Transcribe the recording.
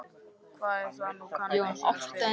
Hvað er það nú, kann einhver að spyrja.